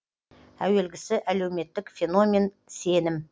әуелгісі әлеуметтік феномен сенім